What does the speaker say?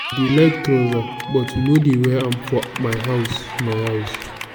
i dey like trouser but we no dey wear am for my house my house